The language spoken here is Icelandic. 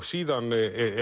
síðan